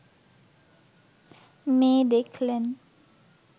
মেয়ে দেখলেন